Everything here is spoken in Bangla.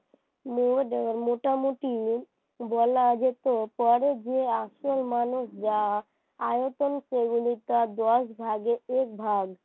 মোট মোটামুটি বলা যেতে পারে যে আসল আয়তন যা তার দশ ভাগের একভাগ